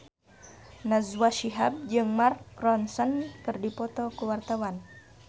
Najwa Shihab jeung Mark Ronson keur dipoto ku wartawan